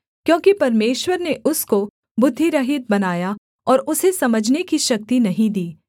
क्योंकि परमेश्वर ने उसको बुद्धिरहित बनाया और उसे समझने की शक्ति नहीं दी